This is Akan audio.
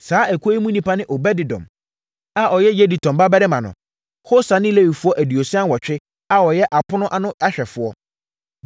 Saa ekuo yi mu nnipa ne Obed-Edom (a ɔyɛ Yedutun babarima no), Hosa ne Lewifoɔ aduosia nwɔtwe a wɔyɛ apono anohwɛfoɔ.